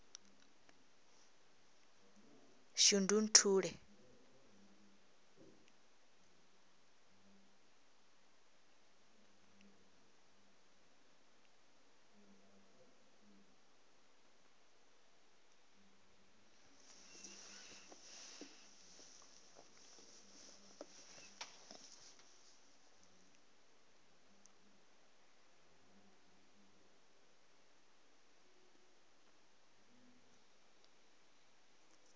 shundunthule